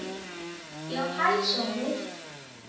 Já, hæ Sóri.